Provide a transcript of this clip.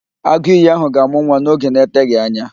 Agụìyì ahụ ga-amụ nwa n'oge na-eteghị anya